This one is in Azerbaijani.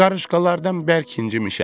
Qarışqalardan bərk incimişəm.